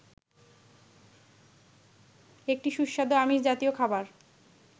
একটি সুস্বাদু আমিষ জাতীয় খাবার